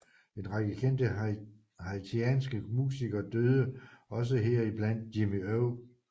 En række kendte haitianske musikere døde også heriblandt Jimmy O